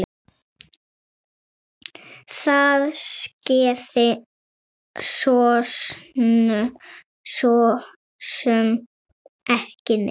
Það skeði sosum ekki neitt.